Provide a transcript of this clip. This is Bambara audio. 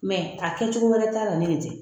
Mɛ a kɛcogo wɛrɛ ta' la ni nin tɛ